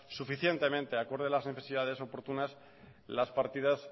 suficientemente de acuerdo a las necesidades oportunas las partidas